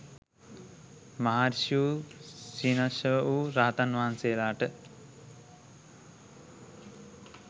මහාර්ෂී වූ ක්ෂීණාශ්‍රවවූ රහතන් වහන්සේලාට